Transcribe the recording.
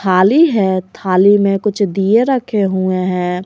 थाली है थाली में कुछ दिए रखे हुए है।